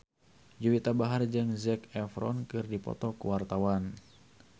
Juwita Bahar jeung Zac Efron keur dipoto ku wartawan